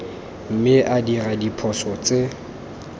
mme a dira diphoso tse